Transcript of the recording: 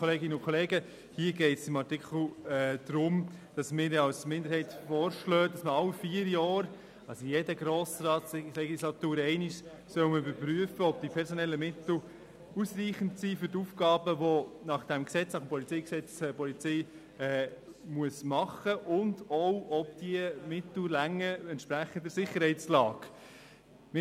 Eine Minderheit der SiK schlägt Ihnen vor, dass alle vier Jahre, das heisst einmal pro Legislatur, überprüft werden soll, ob die personellen Mittel für die Aufgabenerfüllung der Polizei ausreichend sind und insbesondere ob diese Mittel entsprechend der Sicherheitslage ausreichen.